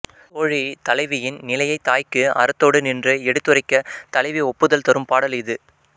தோழி தலைவியின் நிலையைத் தாய்க்கு அறத்தொடு நின்று எடுத்துரைக்கத் தலைவி ஒப்புதல் தரும் பாடல் இது